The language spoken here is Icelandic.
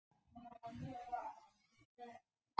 Sennilegast fannst mér að mál